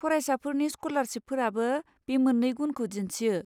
फरायसाफोरनि स्कलारसिपफोराबो बे मोननै गुनखौ दिन्थियो।